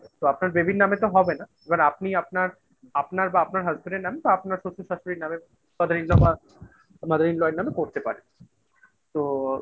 তো আপনার baby এর নামে তো হবে না এবার আপনি আপনার আপনার বা আপনার Husband এর নাম তো আপনার শ্বশুর শাশুড়ির নামে তাদের in law এর নামে করতে পারে তো ।